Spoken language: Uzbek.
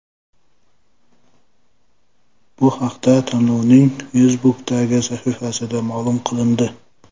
Bu haqda tanlovning Facebook’dagi sahifasida ma’lum qilindi .